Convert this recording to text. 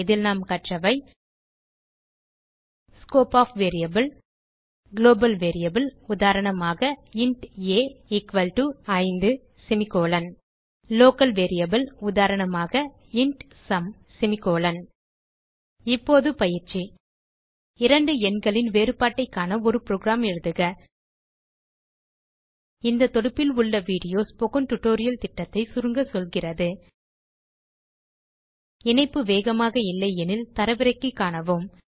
இதில் நாம் கற்றவை scope of variable global variable உதாரணமாக160 இன்ட் a5 லோக்கல் வேரியபிள் உதாரணமாக160int சும் இப்போது பயிற்சி இரண்டு எண்களின் வேறுபாட்டைக் காண ஒரு புரோகிராம் எழுதுக இந்த தொடுப்பில் உள்ள வீடியோ ஸ்போக்கன் டியூட்டோரியல் திட்டத்தை சுருங்க சொல்கிறது httpspokentutorialorgWhat is a Spoken Tutorial இணைப்பு வேகமாக இல்லை எனில் தரவிறக்கி காணுங்கள்